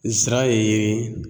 Zira ye